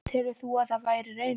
Telur þú að það verði raunin?